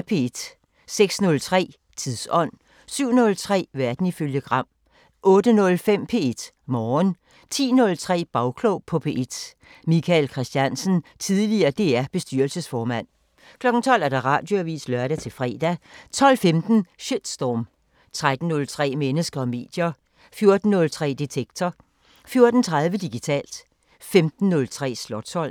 06:03: Tidsånd 07:03: Verden ifølge Gram 08:05: P1 Morgen 10:03: Bagklog på P1: Michael Christiansen, tidl. DR-bestyrelsesformand 12:00: Radioavisen (lør-fre) 12:15: Shitstorm 13:03: Mennesker og medier 14:03: Detektor 14:30: Digitalt 15:03: Slotsholmen